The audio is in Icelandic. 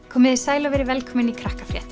komiði sæl og verið velkomin í